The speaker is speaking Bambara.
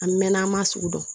An mɛɛnna an m'a sugu dɔn